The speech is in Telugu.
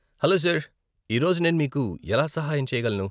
హలో సార్ , ఈ రోజు నేను మీకు ఎలా సహాయం చేయగలను?